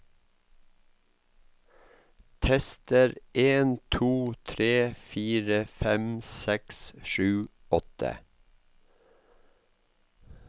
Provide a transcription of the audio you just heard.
Tester en to tre fire fem seks sju åtte